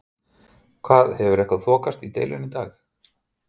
Hefur eitthvað þokast í deilunni í dag?